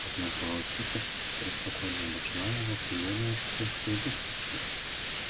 однако волчица преспокойно обошла его примерилась к прыжку и подскочила